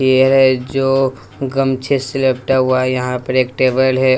ये है जो गमछे से लपटा हुआ है यहां पर एक टेबल है।